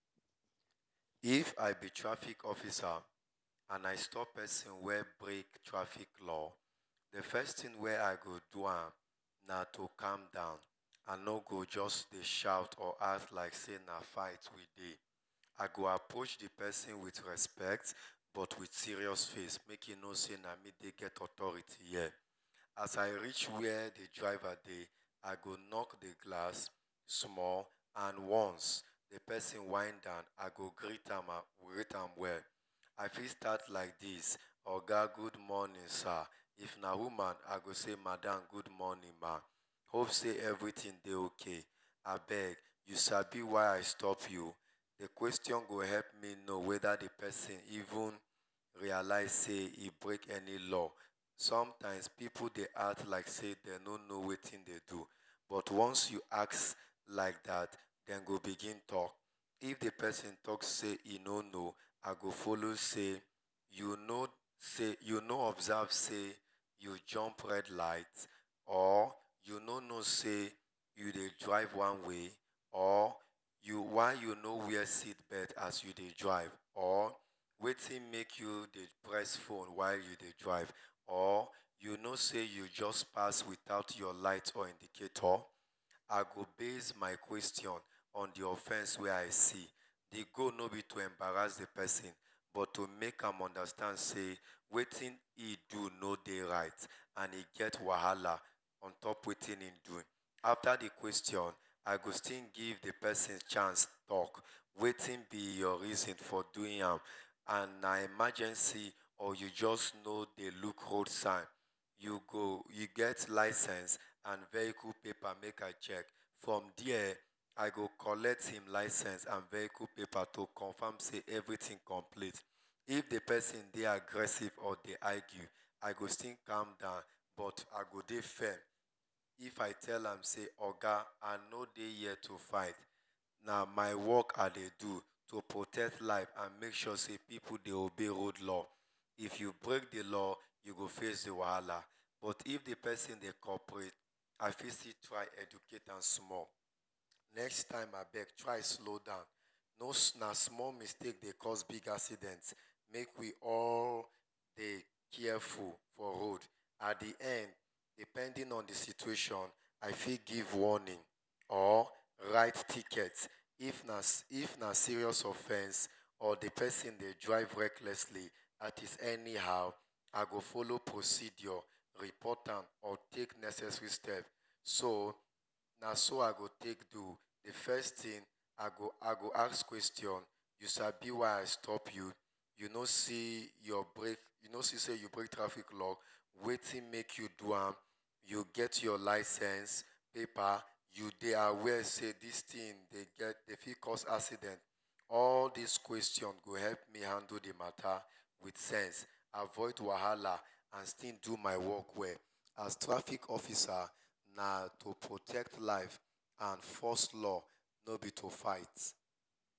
If i be traffic officer and i stop persin wey break traffic law, d first thing wey i go do na to calm down, i no suppose to dey shout or act like say na fight we dey, i go approach d persin with respect but with serious face make d persin know say na me get authority here, as i reach where d driver dey, i go knock d glass small and once, if d persin whine down i go greet am well,i fit start like this oga good morning sir, if na woman i go say madam good morning ma, hope sey everything dey okay, abeg u sabi why i stop u, d question go make me know weda d persin even realise say he break any law, sometimes pipu dey act like say dem no no wetin dem do, but onnce u ask like dat dem go begin talk, if d persin talk say hin no no, i go follow say u no observe sey u jump red light or u no no sey u dey drive one way or, or why u no wear seat bealt as u dey drive or wetin make u dey press phone while u dey drive or u know sey u just pass without your light or indicator, i go base my question on d offense wey i see, d goal no b to embarass d persin but to make am know sey wetin hin do no dey right and e get wahala on top wetin hin do, afta d question, i go still give d persin chance talk, wetin b your reason for doing am and na emergency abi u no jus dey look hold sign, u get lisense and vehicle paper make i check, from there i go collect hin vehicle paper and lisense to comfam sey everything complete, if d persin dey aggressive or dey argue i go still calm down but i go dey fair, if i tell am sey oga i no dey here to fight but na my work i dey do to protect live and make sure sey pipu dey obey road law, if u break d law u go face d wahala but if d persin dey cooperate i if still try educate am small, next time abeg try dey slow down small, na small mistake dey cause big accident make we dey all dey careful for road, at d end depending on d situation i fit give warning or write ticket if na serious offesens or d persin dey drive recklessly dat is anyhow i go follow procedure report am or take necessary step, so naso i go take do, d first thing i go ask question, u sabi why i stop u? U no see sey u break traffic law? Wetin make u do am? U get your lisense paper? U dey aware sey dis thing fit cause accident? All dis question go help me handle d mata with sense, avoud wahala and still do my work well, as traffic officer na to protect live and enforce law no b to fight.